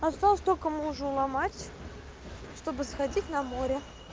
осталось только мужа уломать чтобы сходить на море